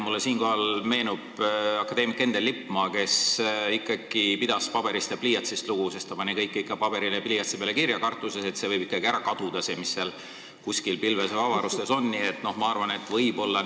Mulle meenub akadeemik Endel Lippmaa, kes pidas lugu paberist ja pliiatsist, ta pani kõik ikka paberile pliiatsiga kirja, kartuses, et see, mis kuskil pilves või avarustes on, võib ära kaduda.